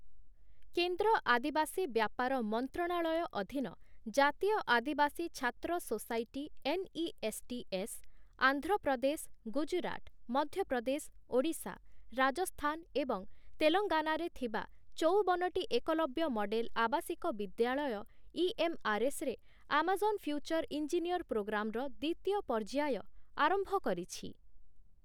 କେନ୍ଦ୍ର ଆଦିବାସୀ ବ୍ୟାପାର ମନ୍ତ୍ରଣାଳୟ' ଅଧୀନ ଜାତୀୟ ଆଦିବାସୀ ଛାତ୍ର ସୋସାଇଟି ଏନ୍‌.ଇ.ଏସ୍‌.ଟି.ଏସ୍. , ଆନ୍ଧ୍ରପ୍ରଦେଶ, ଗୁଜରାଟ, ମଧ୍ୟପ୍ରଦେଶ, ଓଡ଼ିଶା, ରାଜସ୍ଥାନ ଏବଂ ତେଲଙ୍ଗାନାରେ ଥିବା ଚଉବନଟି ଏକଲବ୍ୟ ମଡେଲ ଆବାସିକ ବିଦ୍ୟାଳୟ ଇ.ଏମ୍‌.ଆର୍‌.ଏସ୍‌. ରେ 'ଆମାଜନ ଫ୍ୟୁଚର ଇଞ୍ଜିନିୟର ପ୍ରୋଗ୍ରାମ'ର ଦ୍ୱିତୀୟ ପର୍ଯ୍ୟାୟ ଆରମ୍ଭ କରିଛି ।